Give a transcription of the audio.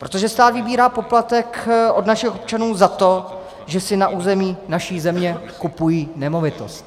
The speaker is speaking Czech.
Protože stát vybírá poplatek od našich občanů za to, že si na území naší země kupují nemovitost.